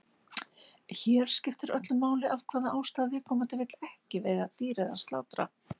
Hér skiptir öllu máli af hvaða ástæðu viðkomandi vill ekki veiða dýr eða slátra.